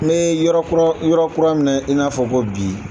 Me yɔrɔ kura yɔrɔ kura min na i n'a fɔ ko bi.